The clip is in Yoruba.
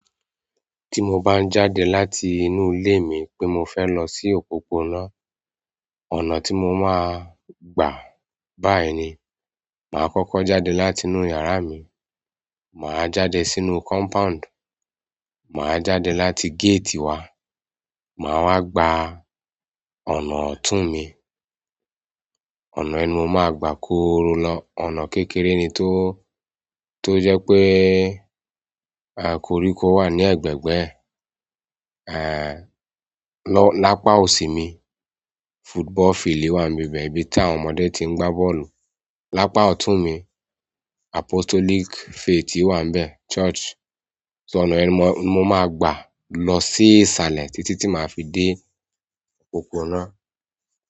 Tí mo bá ń jáde láti inú ilé mi pé mo fẹ́ lọ sí òpópónà, ọ̀nà tí mo máa gbà báyìí ni, màá kọ́kọ́ jáde láti inú yàrá mi, màá jáde sínú compound, màá jáde láti gate wa, màá wá gba ọ̀nà ọ̀tún mi, ọ̀nà inú mo máa gbà kóró lọ. Ọ̀nà kékeré ni tó, tó jẹ́ pé, aà, koríko wà ní ẹgbẹgbẹ ẹ́, aà, lọ́ lápá òsì mi, football field wà níbi ibẹ̀ ibí tí àwọn ọmọdé tí ń gbá bọ́ọ̀lù. Lapa ọtun mi, apostolic faith wa nbẹ church. Ṣó ọ̀nà yẹn mo máa gbà lọ sí isalẹ títí tí màá fi dé òpópónà.